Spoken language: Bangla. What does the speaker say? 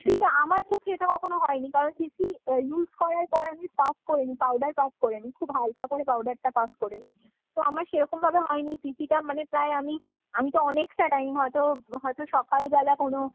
আমার ক্ষেত্রে এটা কখনো হয়নি। কারণ CC use করার পর আমি puff করে নি powder puff করে নি। খুব হালকা করে powder টা puff করে নি। তো আমার সেরকম ভাবে হয়নি। CCটা মানে প্রায় আমি ,আমিতো অনেক টা time হয়তো, হয়তো সকাল বেলা কোনো